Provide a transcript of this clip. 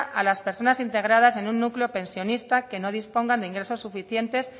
a las personas integradas en un núcleo pensionista que no dispongan de ingresos suficientes